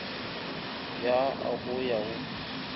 ya a go ya go